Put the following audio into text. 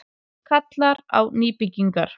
Kallar á nýbyggingar